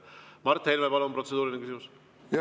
Mart Helme, palun, protseduuriline küsimus!